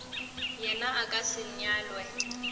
yena a ka se nyalwe